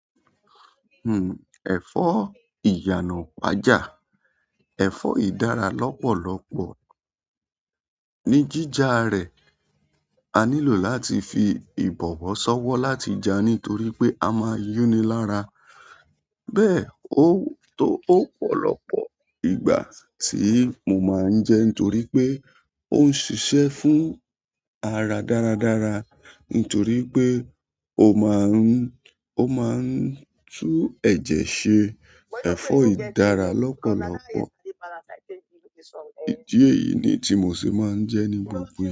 Hmm, ẹ̀fọ́ ìyànà ipájà, ẹ̀fọ́ yiì dára lọ́pọ̀lọ́pọ̀ ní jíjá rẹ̀. A nílò láti fi ìbọ̀wọ̀ ṣọ́wọ́ láti jẹ́ nítorí pé a máa yúnni lára. Bẹ́ẹ̀ ó, tó ọ̀pọ̀lọpọ̀ ìgbà ti mọ máa ń jẹ nítorí pé ó ń ṣiṣẹ́ fún ara dáradára nítorí pé ó máa ń, ó máa ń tú ẹ̀jẹ̀ ṣe ẹ̀fọ́ yiì dára lọ́pọ̀lọ́pọ̀. Idi eyìí ni tí mo ṣe máa ń jẹ nígbogbo.